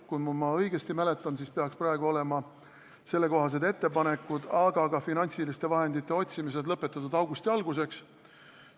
Kui ma õigesti mäletan, siis peaksid sellekohased ettepanekud, aga ka finantsiliste vahendite otsimine olema lõpetatud augusti alguseks.